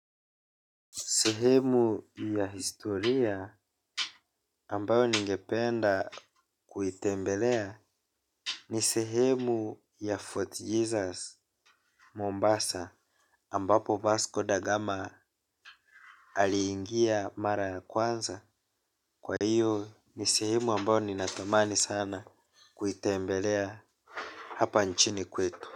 Sehemu ya historia ambayo ningependa kuitembelea ni sehemu ya Fort Jesus Mombasa ambapo Vasco Da gama aliingia mara ya kwanza. Kwa iyo ni sehemu ambayo ninatamani sana kuitembelea hapa nchini kwetu.